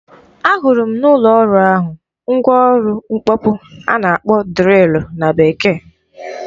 Ahụrụ m n'ụlọ ọrụ ahụ mgwa ọrụ mkpọpụ a na-akpọ drịlụ na Bekee.